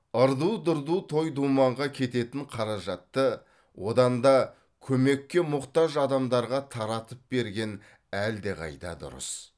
ырду дырду той думанға кететін қаражатты одан да көмекке мұқтаж адамдарға таратып берген әлдеқайда дұрыс